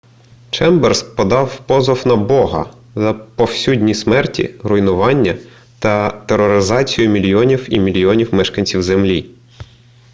чемберс подав позов на бога за повсюдні смерті руйнування та тероризацію мільйонів і мільйонів мешканців землі